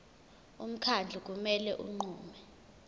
umkhandlu kumele unqume